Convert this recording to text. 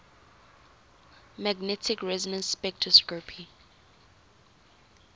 magnetic resonance spectroscopy